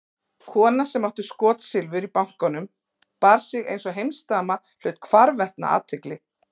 Kona sem átti skotsilfur í bankanum og bar sig einsog heimsdama hlaut hvarvetna athygli.